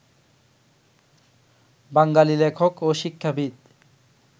বাঙালি লেখক ও শিক্ষাবিদ